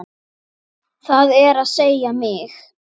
Það er að segja mig.